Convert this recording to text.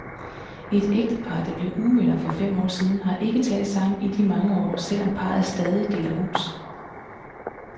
Et ægtepar, der blev uvenner for fem år siden, har ikke talt sammen i de mange år, selv om parret stadig deler hus.